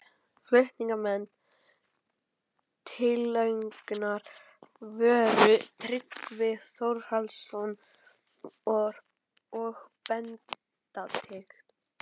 Flutningsmenn tillögunnar voru Tryggvi Þórhallsson og Benedikt